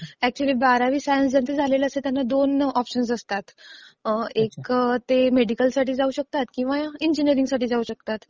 अच्युअली बारावी सायन्स झालेलं असेल तर दोन ऑप्शन्स असतात. एक ते मेडिकल साठी जाऊ शकतात किंवा इंजिनियरिंगसाठी जाऊ शकतात.